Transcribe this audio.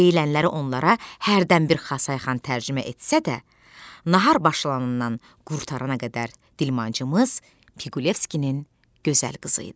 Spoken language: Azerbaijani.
Deyilənləri onlara hərdən bir Xasay xan tərcümə etsə də, nahar başlanandan qurtarana qədər dilmancımız Piqulevskinin gözəl qızı idi.